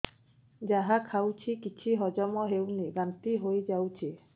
ଯାହା ଖାଉଛି କିଛି ହଜମ ହେଉନି ବାନ୍ତି ହୋଇଯାଉଛି